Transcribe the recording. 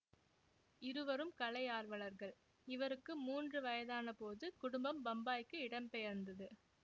இருவரும் கலையார்வலர்கள் இவருக்கு மூன்று வயதானபோது குடும்பம் பம்பாய்க்கு இடம் பெயர்ந்தது